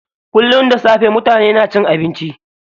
Kullum da safe mutane na cin abinci.